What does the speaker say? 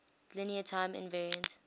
linear time invariant